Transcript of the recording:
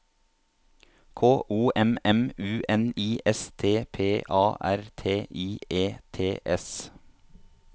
K O M M U N I S T P A R T I E T S